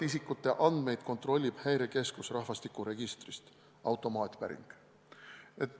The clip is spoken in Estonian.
Isikute andmeid kontrollib Häirekeskus rahvastikuregistrist, see on automaatpäring.